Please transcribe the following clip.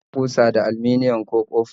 Ana iya kusa da aliminium, ko copa